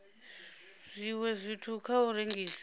zwiwe zwithu kha u rengisa